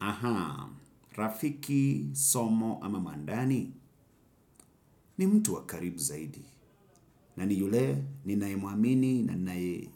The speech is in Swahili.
Ahaa, rafiki, somo ama mandani ni mtu wa karibu zaidi na ni yule nine muamini nanae